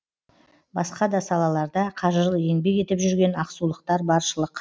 басқа да салаларда қажырлы еңбек етіп жүрген ақсулықтар баршылық